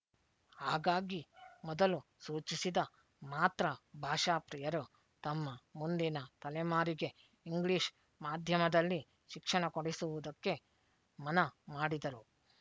ಹಾಗಾಗಿ ಮೊದಲು ಸೂಚಿಸಿದ ಮಾತ್ರ ಭಾಷಾಪ್ರಿಯರು ತಮ್ಮ ಮುಂದಿನ ತಲೆಮಾರಿಗೆ ಇಂಗ್ಲೀಷ್ ಮಾಧ್ಯಮದಲ್ಲಿ ಶಿಕ್ಷಣ ಕೊಡಿಸುವುದಕ್ಕೆ ಮನಮಾಡಿದರು